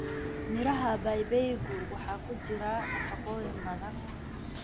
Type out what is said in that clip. Miraha babaygu waxa ku jira nafaqooyin badan.